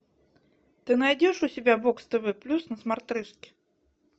ты найдешь у себя бокс тв плюс на смотрешке